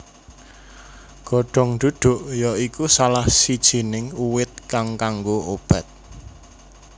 Godong duduk ya iku salah sijining uwit kang kanggo obat